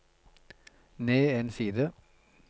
ned en side